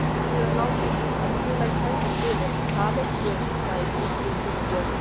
Hann hefur lítið til að kætast yfir, það veit Guð, sagði Gissur þungbúinn.